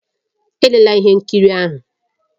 Elela ihe nkiri ahụ!